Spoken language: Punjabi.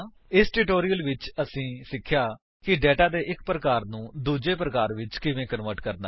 ਇਸ ਟਿਊਟੋਰਿਅਲ ਵਿੱਚ ਅਸੀਂ ਸਿੱਖਿਆ ਕਿ ਡੇਟਾ ਦੇ ਇੱਕ ਪ੍ਰਕਾਰ ਨੂੰ ਦੂਜੇ ਵਿੱਚ ਕਿਵੇਂ ਕਨਵਰਟ ਕਰਦੇ ਹਾਂ